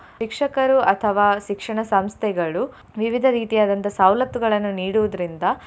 ಶಿಕ್ಷಕರು ಅಥವಾ ಶಿಕ್ಷಣ ಸಂಸ್ಥೆಗಳು ವಿವಿಧ ರೀತಿಯಾದಂತಹ ಸವಲತ್ತುಗಳನ್ನು ನೀಡುವುದ್ರಿಂದ.